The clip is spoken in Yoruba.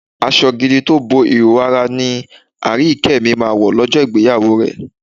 Aṣọ gidi tó bo ìhòòhò ara ni Aríyìíkẹ́ mi máa wọ̀ lọ́jọ́ ìgbéyàwó rẹ̀.